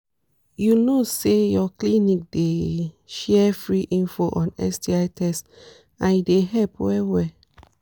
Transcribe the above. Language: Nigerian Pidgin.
you know say ur clinic dey share free info on sti test and e dey help well well